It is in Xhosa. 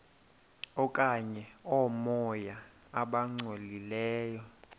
okanye oomoya abangcolileyo